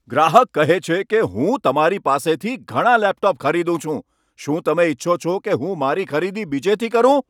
ગ્રાહક કહે છે કે, હું તમારી પાસેથી ઘણાં લેપટોપ ખરીદું છું. શું તમે ઇચ્છો છો કે હું મારી ખરીદી બીજેથી કરું?